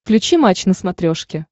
включи матч на смотрешке